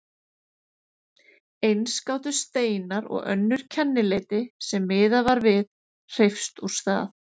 Eins gátu steinar og önnur kennileiti, sem miðað var við, hreyfst úr stað.